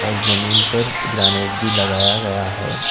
जमीन पर ग्रानेड भी लगाया गया है।